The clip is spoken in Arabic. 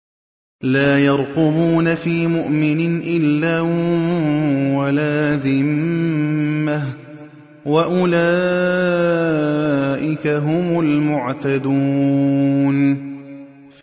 لَا يَرْقُبُونَ فِي مُؤْمِنٍ إِلًّا وَلَا ذِمَّةً ۚ وَأُولَٰئِكَ هُمُ الْمُعْتَدُونَ